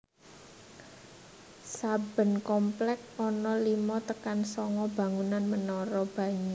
Saben komplèks ana lima tekan sanga bangunan menara banyu